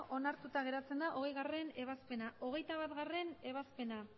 hogeita bat onartuta geratzen da hogeigarrena ebazpena hogeita batgarrena ebazpena